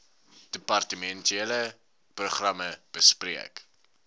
departementele programme bespreek